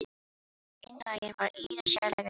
Einn daginn var Íris sérlega treg.